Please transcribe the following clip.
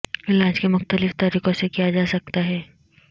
علاج کے مختلف طریقوں سے کیا جا سکتا ہے